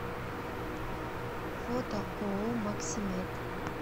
фото ооо максимед